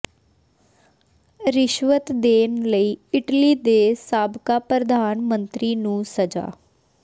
ਰਿਸ਼ਵਤ ਦੇਣ ਲਈ ਇਟਲੀ ਦੇ ਸਾਬਕਾ ਪ੍ਰਧਾਨ ਮੰਤਰੀ ਨੂੰ ਸਜ਼ਾ